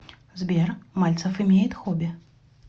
сбер мальцев имеет хобби